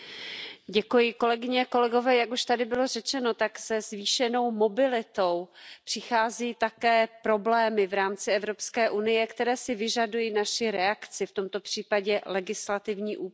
Pane předsedající, jak už tady bylo řečeno, tak se zvýšenou mobilitou přichází také problémy v rámci Evropské unie, které si vyžadují naši reakci, v tomto případě legislativní úpravu.